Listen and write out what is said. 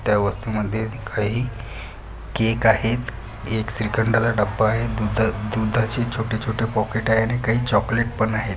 त्या वस्तूमध्ये काही केक आहेत एक श्रीखंडचा डब्बा आहे दूधह दूधाची छोटे-छोटे पॅकेट आहे आणि काही चॉकलेट पन आहे.